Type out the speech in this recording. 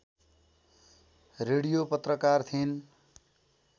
radio पत्रकार थिइन्